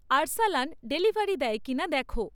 Arsalan delivery দেয় কি না দেখো